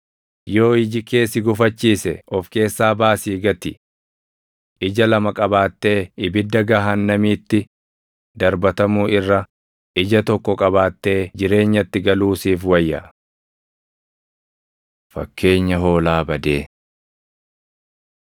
Yoo iji kee si gufachiise of keessaa baasii gati. Ija lama qabaattee ibidda gahaannamiitti darbatamuu irra ija tokko qabaattee jireenyatti galuu siif wayya. Fakkeenya Hoolaa Badee 18:12‑14 kwf – Luq 15:4‑7